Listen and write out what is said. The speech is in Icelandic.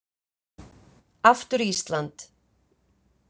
Aftur Ísland.